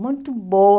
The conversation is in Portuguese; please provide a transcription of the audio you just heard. Muito boa.